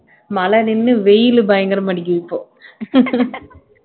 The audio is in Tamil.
மழை நின்னு வெயிலு பயங்கரமா அடிக்குது இப்போ